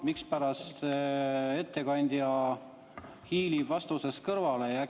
Mispärast ettekandja hiilib vastusest kõrvale?